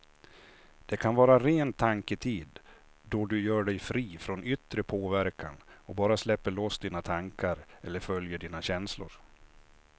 Det kan vara ren tanketid då du gör dig fri från yttre påverkan och bara släpper loss dina tankar eller följer dina känslor.